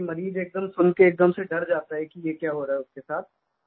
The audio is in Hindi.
क्योंकि मरीज़ एकदम सुनके एकदम से डर जाता है कि ये क्या हो रहा है उसके साथ